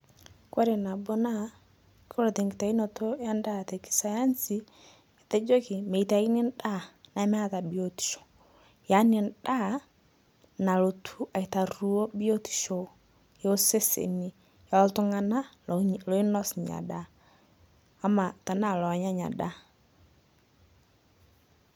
Koree nabo na koree tenkitaunoto endaa esayansi ketejoki metauni endaa nemeata biotisho yani endaa nalotu aitario biotisho oltunganak loinas ina daa ashu lonya inadaa.